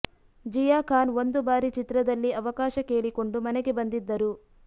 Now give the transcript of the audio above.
ಜಿಯಾ ಖಾನ್ ಒಂದು ಬಾರಿ ಚಿತ್ರದಲ್ಲಿ ಅವಕಾಶ ಕೇಳಿಕೊಂಡು ಮನೆಗೆ ಬಂದಿದ್ದರು